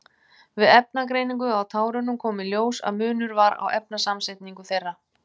Við efnagreiningu á tárunum kom í ljós að munur var á efnasamsetningu þeirra.